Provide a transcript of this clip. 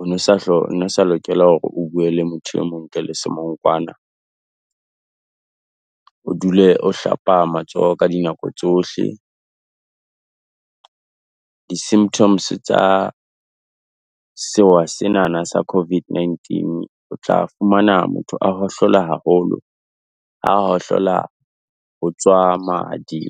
o no sa hlonngwe, sa lokela hore o bue le motho e mong ntle le semongkwana o dule o hlapa matsoho ka dinako tsohle. Di symptoms tsa seoa sena, Hanna sa COVID-19, o tla fumana motho a hohlola haholo ahlola ho tswa madi.